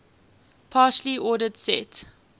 partially ordered set